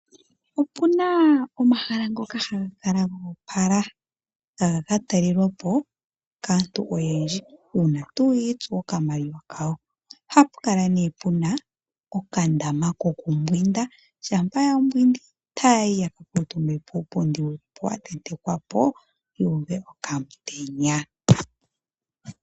Opu na omahala ngoka haga kala goopala ha gaka talelwa po kaantu oyendji uuna tuu yiitsu okamaliwa kawo. Ohapu kala nee puna okandama ko ku mbwinda, shampa ya mbwindi taayi ya ka kuutumbe puupundi wuli po watentekwa po yuuve okamutenya.